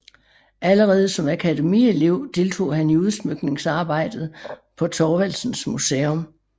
Allerede som akademielev deltog han i udsmykningsarbejdet på Thorvaldsens Museum